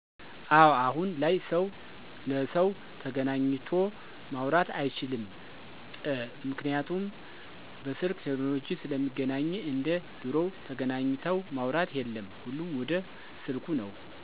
አወ አሁን ላይ ሰው ለሰው ተገናኚቶ ማውራት አይችልምጰምክንያቱም በስልክ ቴክኖለጂ ስለሚገናኚ እንደ ድሮው ተገናኚተው ማውራት የለም ሁሉም ወደ ስልኩ ነው።